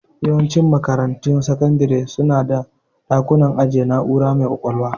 Yawancin makarantun sakandire su na da dakunan ajiyar na'ura mai ƙwaƙwalwa.